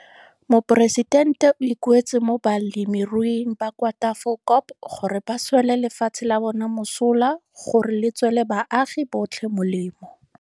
Moporesitente o ikuetse mo balemiruing ba kwa Tafelkop gore ba swele lefatshe la bona mosola gore le tswele baagi botlhe molemo.